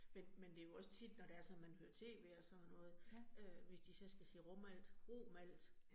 Men men det jo også tit, når det er sådan man hører T V og sådan noget, øh hvis de så skal sige Romalt Romalt